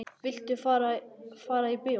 Viltu fara í bíó?